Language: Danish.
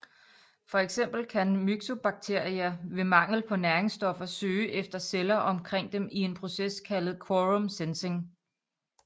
For eksempel kan Myxobacteria ved mangel på næringsstoffer søge efter celler omkring dem i en proces kaldet quorum sensing